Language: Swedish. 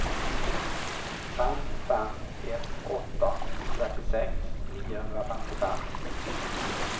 fem fem ett åtta trettiosex niohundrafemtiofem